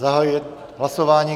Zahajuji hlasování.